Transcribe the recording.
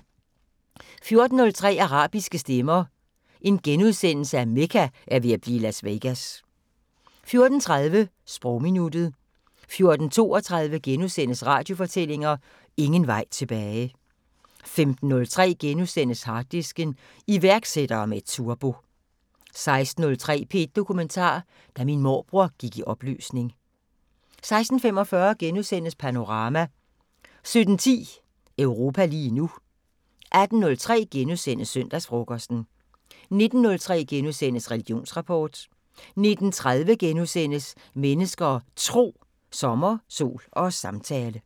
14:03: Arabiske stemmer: Mekka er ved at blive Las Vegas * 14:30: Sprogminuttet 14:32: Radiofortællinger: Ingen vej tilbage * 15:03: Harddisken: Iværksættere med turbo * 16:03: P1 Dokumentar: Da min morbror gik i opløsning 16:45: Panorama * 17:10: Europa lige nu 18:03: Søndagsfrokosten * 19:03: Religionsrapport * 19:30: Mennesker og Tro: Sommer, sol og samtale *